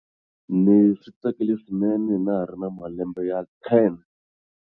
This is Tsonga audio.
Ni swi tsakele swinene na ha ri na malembe ya 10.